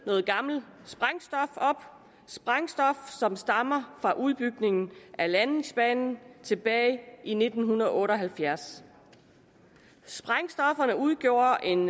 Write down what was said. noget gammelt sprængstof som stammede fra udbygningen af landingsbanen tilbage i nitten otte og halvfjerds sprængstofferne udgjorde en